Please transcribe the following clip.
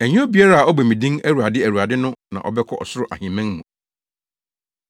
“Ɛnyɛ obiara a ɔbɔ me din ‘Awurade, Awurade’ no na ɔbɛkɔ ɔsoro ahemman mu.